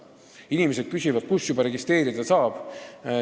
Inimesed küsivad juba, kus registreeruda saab.